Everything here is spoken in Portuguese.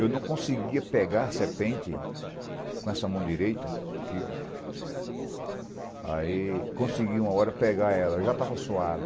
Eu não conseguia pegar a serpente com essa mão direita, aqui, ó. Aí, consegui uma hora pegar ela, já estava suado.